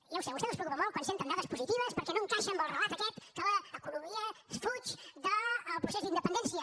ja ho sé a vostès els preocupa molt quan senten dades positives perquè no encaixa amb el relat aquest que l’economia fuig del procés d’independència